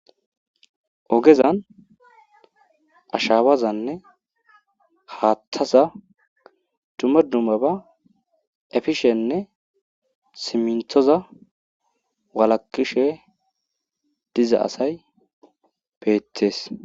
Ogezan ashawazanne haaththazan duma dummaba efishene siminthoza walakishe diza asay betees.